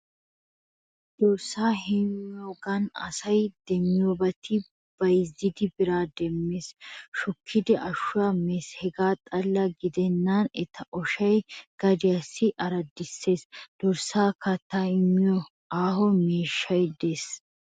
Dorssaa heemmiyoogaan asay demmiyoobati bayzzidi biraa demmees, shukkidi ashuwaa mees hegaa xalla gidennan eta oshay gadiyaa araddissees. Dorssaassi kattaa immiyo aaho miishshay de'ees.